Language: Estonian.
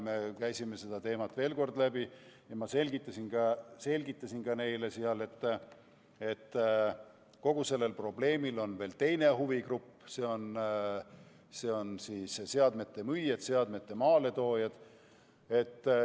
Me käisime selle teema veel kord läbi ja ma selgitasin neile, et kogu selle probleemistikuga on seotud veel teinegi huvigrupp, nimelt seadmete müüjad ja maaletoojad.